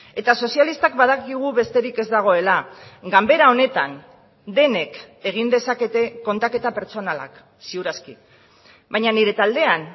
eta sozialistak badakigu besterik ez dagoela ganbera honetan denek egin dezakete kontaketa pertsonalak ziur aski baina nire taldean